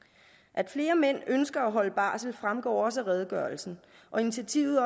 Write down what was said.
at flere mænd ønsker at holde barsel fremgår også af redegørelsen og initiativet